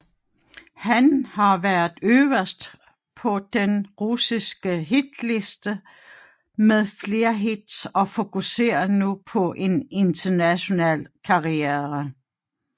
Han har været øverst på den russiske hitliste med flere hits og fokuserer nu på en international karriere